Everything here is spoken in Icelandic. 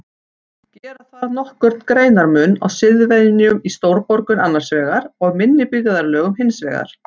Gera þarf nokkurn greinarmun á siðvenjum í stórborgum annars vegar og minni byggðarlögum hins vegar.